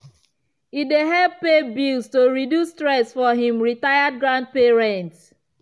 e dey help pay bills to reduce stress for him retired grandparents.